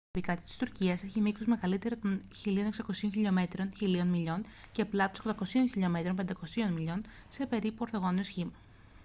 η επικράτεια της τουρκίας έχει μήκος μεγαλύτερο των 1.600 χιλιομέτρων 1.000 μιλίων και πλάτος 800 χιλιομέτρων 500 μιλίων με περίπου ορθογώνιο σχήμα